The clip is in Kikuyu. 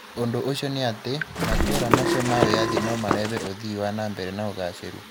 Ũndũ ũcio nĩ atĩ, matũũra macio ma wĩyathi no mareve ũthii wa na mbere na ugacĩru.